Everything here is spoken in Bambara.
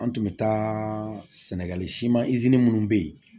An tun bɛ taa sɛnɛgali siman minnu bɛ yen